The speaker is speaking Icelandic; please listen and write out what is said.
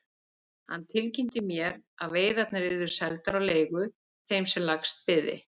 Hann tilkynnti mér að veiðarnar yrðu seldar á leigu þeim sem lægst byði.